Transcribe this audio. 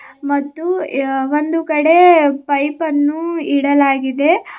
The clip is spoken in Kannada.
ಮತ್ತು ಯ-ಒಂದು ಕಡೆ ಪೈಪನ್ನು ಇಡಲಾಗಿದೆ ಅ--